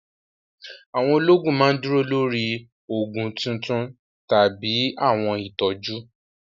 Àwọn olóògùn ma dúró lórí oògùn tuntun àti àwọn ìtọ́jú